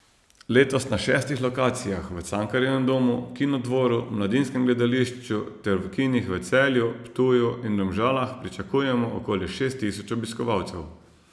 Letos na šestih lokacijah v Cankarjevem domu, Kinodvoru, Mladinskem gledališču ter v kinih v Celju, Ptuju in Domžalah pričakujemo okoli šest tisoč obiskovalcev.